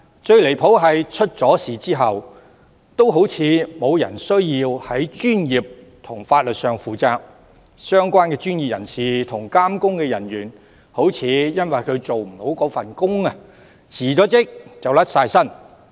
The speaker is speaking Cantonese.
最離譜的是，出了岔子也好像沒有人需要在專業和法律上負責，相關專業人士和監工人員失職，似乎只須辭職就可以脫身。